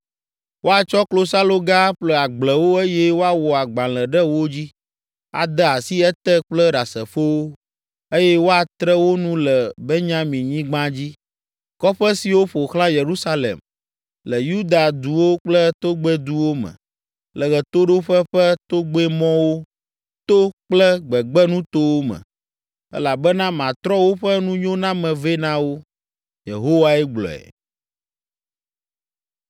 Woatsɔ klosaloga aƒle agblewo eye woawɔ agbalẽ ɖe wo dzi, ade asi ete kple ɖasefowo, eye woatre wo nu le Benyaminyigba dzi, kɔƒe siwo ƒo xlã Yerusalem, le Yuda duwo kple togbɛduwo me, le ɣetoɖoƒe ƒe togbɛmɔwo to kple gbegbenutowo me, elabena matrɔ woƒe nunyoname vɛ na wo.” Yehowae gblɔe.